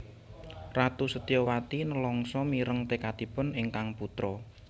Ratu Setyawati nelangsa mireng tekadipun ingkang putra